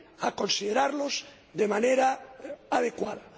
a considerar de manera adecuada.